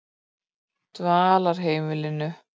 Dvalarheimilinu